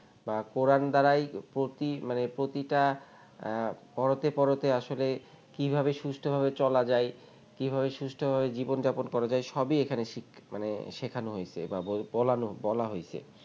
বা কোরান দ্বারাই প্রতি মানে প্রতিটা পড়তে পড়তে আসলে কিভাবে সুস্থ ভাবে চলা যায় কিভাবে সুস্থ ভাবে জীবনযাপন করা যায় সবই এখানে শিখ মানে শেখানো হয়েছে বা বলানো বলা হয়েছে